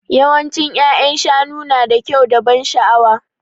Yawancin ya'yan shanu nada kyau da ban sha'awa.